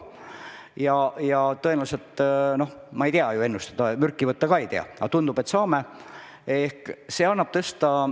Noh, ma ei oska ennustada ja selle peale mürki võtta ka ei luba, aga tundub, et me selle loa saame.